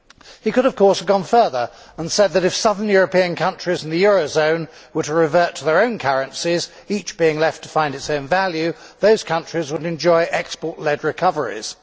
He could, of course, have gone further and said that, if southern European countries in the eurozone were to revert to their own currencies, each being left to find its own value, those countries would enjoy export led recoveries.